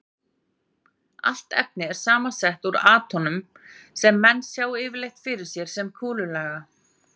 Allt efni er samsett úr atómum sem menn sjá yfirleitt fyrir sér sem kúlulaga.